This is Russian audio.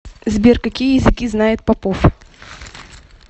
сбер какие языки знает попов